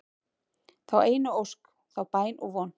þá einu ósk, þá bæn og von